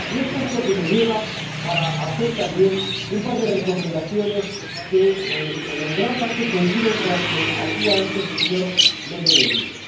Eso es lo que me lleva a hacer también un par de recomendaciones que en gran parte coinciden con las que hacía antes el señor Méndez de Vigo.